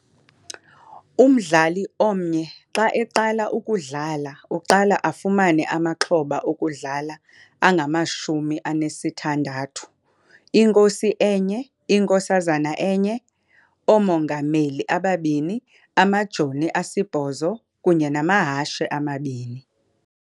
Umdlali omnye xa eqala ukudlala uqala afumane amaxhoba okudlala angamashumi anesithandathu- Inkosi enye, Inkosazana enye, Oomongameli ababini, Amajoni asibhozo kunye namahashe amabini.